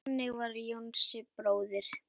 Þannig var Jónsi bróðir.